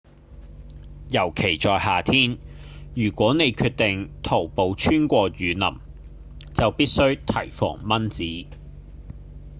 尤其在夏天如果你決定徒步穿過雨林就必須提防蚊子